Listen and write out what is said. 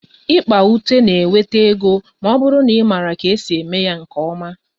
Ikpa ute na-enweta ego ma ọ bụrụ na ị maara ka esi eme ya nke ọma